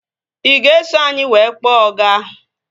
Ị ga-eso anyị wee kpọọ ọga?